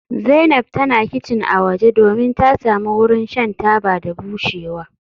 Zainab tana kicin a waje domin ta samu wurin shan taba da bushewa.